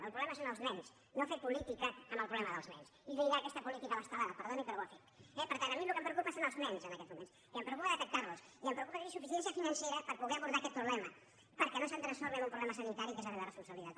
el problema són els nens no fer política amb el problema dels nens i lligar aquesta política a l’estelada perdoni però ho ha fet eh per tant a mi el que em preocupa són els nens en aquests moments i em preocupa detectar los i em preocupa tenir suficiència financera per poder abordar aquest problema perquè no se’m transformi en un problema sanitari que és la meva responsabilitat